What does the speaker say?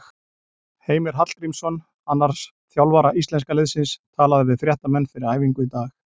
Heimir Hallgrímsson, annars þjálfara íslenska liðsins, talaði við fréttamenn fyrir æfingu í dag.